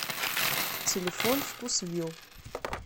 телефон вкусвилл